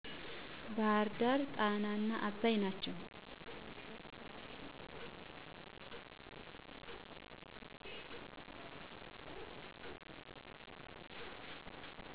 ባህርዳር ጣናና አባይ ናቸው።